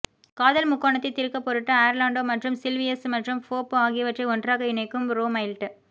காதல் முக்கோணத்தை தீர்க்க பொருட்டு ஆர்லாண்டோ மற்றும் சில்வியஸ் மற்றும் ஃபோப் ஆகியவற்றை ஒன்றாக இணைக்கும் ரோமைல்ட்